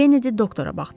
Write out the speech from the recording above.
Kennedi doktora baxdı.